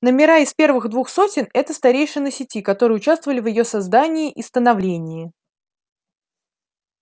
номера из первых двух сотен это старейшины сети которые участвовали в её создании и становлении